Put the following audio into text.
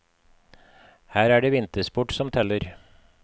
Her er det vintersport som teller.